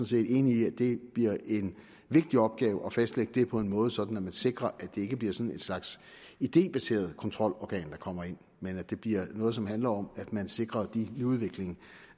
set enig i at det bliver en vigtig opgave at fastlægge det på en måde sådan at man sikrer at det ikke bliver sådan et slags idébaseret kontrolorgan der kommer ind men at det bliver noget som handler om at man sikrer de nyudviklinger